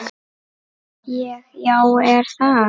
Ég: Já er það?